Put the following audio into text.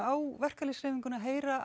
á verkalýðshreyfingin að heyra